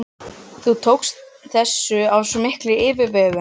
Þú tókst þessu af svo mikilli yfirvegun.